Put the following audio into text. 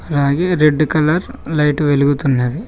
అలాగే red colours light వెలుగుతున్నది.